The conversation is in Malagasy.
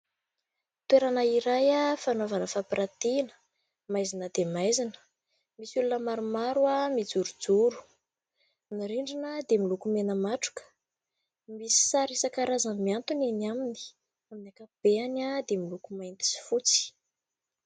Toerana iray fanaovana fampiratiana, maizina dia maizina, misy olona maromaro mijorojoro, ny rindrina dia miloko mena matroka, misy sary isan-karazany miantona eny aminy amin'ny ankapobeny dia miloko mainty sy fotsy.